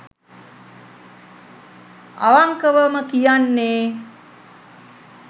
අවන්කවම කියන්නේ